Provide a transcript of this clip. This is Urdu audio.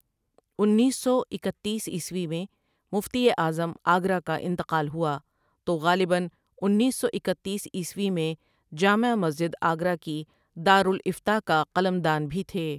انیس سو اکتیس عیسوی میں مفتی اعظم آگرہ کاانتقال ہوا تو غالباً انیس سو اکتیس عیسوی میں جامع مسجدآگرہ کی دارالافتاء کا قلم دان بھی تھے ۔